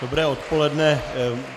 Dobré odpoledne.